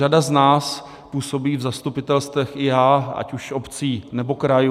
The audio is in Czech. Řada z nás působí v zastupitelstvech, i já, ať už obcí, nebo krajů.